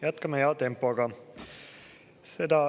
Jätkame hea tempoga.